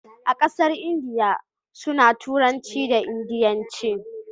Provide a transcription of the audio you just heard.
a ƙasar indiya su na turanci da indianci